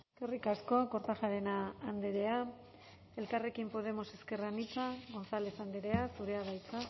eskerrik asko kortajarena andrea elkarrekin podemos ezker anitza gonzález andrea zurea da hitza